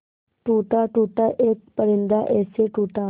टूटा टूटा एक परिंदा ऐसे टूटा